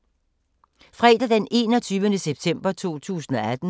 Fredag d. 21. september 2018